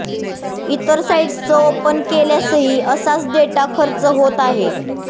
ईतर sites open केल्यासही असाच डेटा खर्च होत आहे